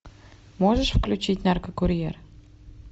можешь включить наркокурьер